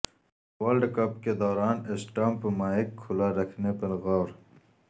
world cup کے دوران stump mic کھلا رکھنے پر غور